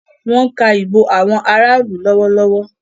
Wón ká ìbò àwọn lọwọlọwọ.